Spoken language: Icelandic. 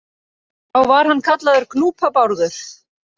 Þá var hann kallaður Gnúpa-Bárður.